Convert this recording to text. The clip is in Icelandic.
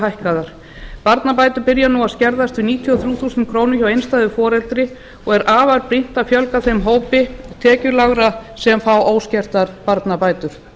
hækkaðar barnabætur byrja nú að skerðast við níutíu og þrjú þúsund krónur hjá einstæðu foreldri og er afar brýnt að fjölga þeim hópi tekjulágra sem fá óskertar barnabætur